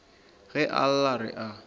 ge a lla re a